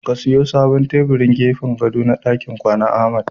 Ka siyo sabon tebirin gefen gado na dakin kwana, Ahmad